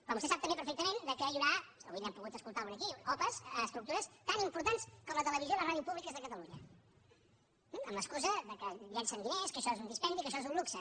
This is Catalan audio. però vostè sap també perfectament que hi haurà avui n’hem pogut escoltar una aquí opa a estructures tan importants com la televisió i la ràdio públiques de catalunya amb l’excusa que llencen diners que això és un dispendi que això és un luxe